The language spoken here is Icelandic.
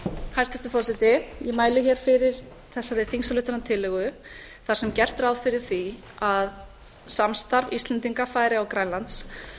hæstvirtur forseti ég mæli hér fyrir þessari á þar sem gert er ráð fyrir því að samstarf íslendinga færeyja og grænlands